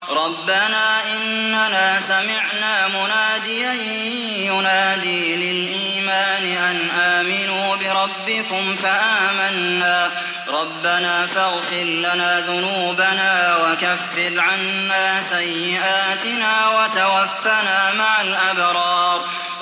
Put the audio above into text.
رَّبَّنَا إِنَّنَا سَمِعْنَا مُنَادِيًا يُنَادِي لِلْإِيمَانِ أَنْ آمِنُوا بِرَبِّكُمْ فَآمَنَّا ۚ رَبَّنَا فَاغْفِرْ لَنَا ذُنُوبَنَا وَكَفِّرْ عَنَّا سَيِّئَاتِنَا وَتَوَفَّنَا مَعَ الْأَبْرَارِ